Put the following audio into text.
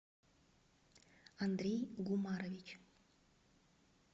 андрей гумарович